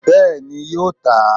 Bẹ́ẹ̀ni yóò tà á